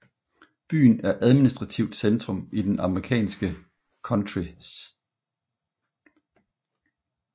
Byen er administrativt centrum i det amerikanske county St